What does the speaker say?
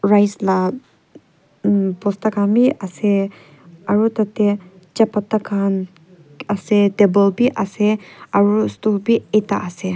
rice la umm bosta khan bi asey aro tateh chapata khan asey table bi asey aro stool bi a ta asey.